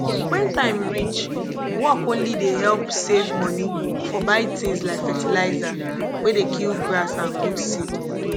when time reach work only dey help save money for buy tins like fertilizer wey dey kill grass and good seed